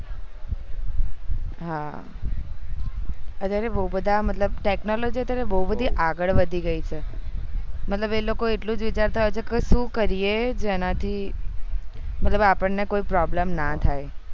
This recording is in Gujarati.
હા અત્યારે બહુ બધા technology અત્યારે બહુ બધી આગળ વધી ગયી છે કે મતલબ એ લોકો એ વાચારતા હોય છે કે સુ કરીએ જેનાથી મતલબ આપણ કોઈ problem ન થાય